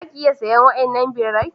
Zaki iya sayen wadannan birrai.